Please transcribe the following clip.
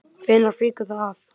Hvenær fýkur það af?